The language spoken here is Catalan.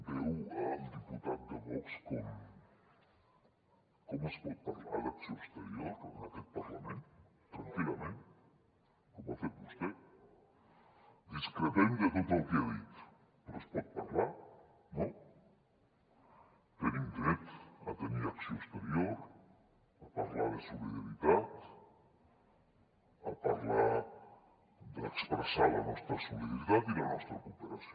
veu el diputat de vox com es pot parlar d’acció exterior en aquest parlament tranquil·lament com ho ha fet vostè discrepem de tot el que ha dit però se’n pot parlar no tenim dret a tenir acció exterior a parlar de solidaritat a parlar d’expressar la nostra solidaritat i la nostra cooperació